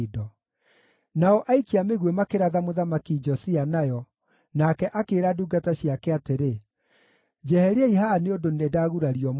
Nao aikia a mĩguĩ makĩratha Mũthamaki Josia nayo, nake akĩĩra ndungata ciake atĩrĩ, “Njeheriai haha nĩ ũndũ nĩndagurario mũno.”